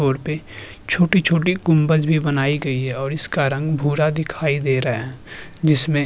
और पे छोटी-छोटी कुम्भज भी बनाई गई है और इसका रंग भूरा दिखाई दे रहा है जिसमे --